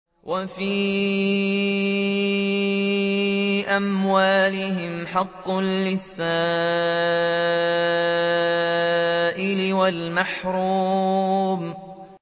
وَفِي أَمْوَالِهِمْ حَقٌّ لِّلسَّائِلِ وَالْمَحْرُومِ